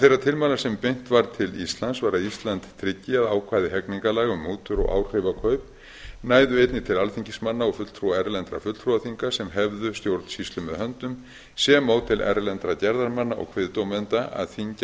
þeirra tilmæla sem beint var til íslands var að ísland tryggi að ákvæði hegningarlaga um mútur og áhrifakaup næðu einnig til alþingismanna og fulltrúa erlendra fulltrúaþinga sem hefðu stjórnsýslu með höndum sem og til erlendra gerðarmanna og kviðdómenda að þyngja